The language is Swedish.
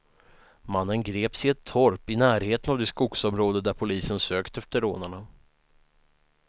Mannen greps i ett torp i närheten av det skogsområde där polisen sökt efter rånarna.